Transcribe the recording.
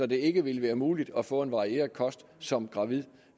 det ikke vil være muligt at få en varieret kost som gravid